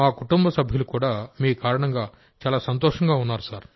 మా కుటుంబ సభ్యులు కూడా మీ కారణంగా చాలా సంతోషంగా ఉన్నారు